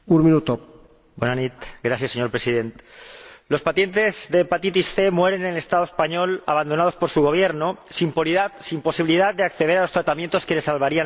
Señor Presidente, los pacientes de hepatitis C mueren en el Estado español abandonados por su Gobierno, sin posibilidad de acceder a los tratamientos que les salvarían la vida y que resultan carísimos.